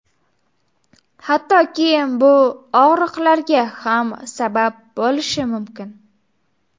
Hattoki bu og‘riqlarga ham sabab bo‘lishi mumkin.